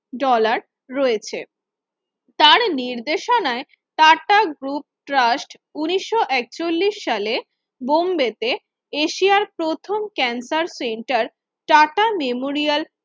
dollar রয়েছে তার নির্দেশনায় টাটা group trust উনিশও একচল্লিশে সালে বোম্বেতে এশিয়া প্রথম ক্যান্সার center memorial